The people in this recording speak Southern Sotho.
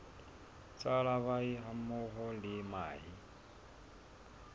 tsa larvae hammoho le mahe